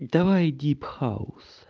давай дип хаус